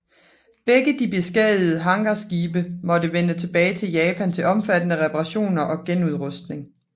Begge de beskadigede hangarskibe måtte vende tilbage til Japan til omfattende reparationner og genudrustning